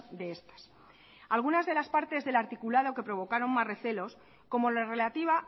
de estas algunas de las partes del articulado que provocaron más recelos como la relativa